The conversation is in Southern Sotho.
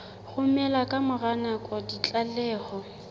romela ka mora nako ditlaleho